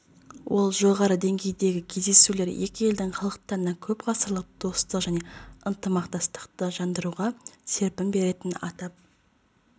ол жоғары деңгейдегі кездесулер екі елдің халықтарына көп ғасырлық достық және ынтымақтастықты жандандыруға серпін беретінін атап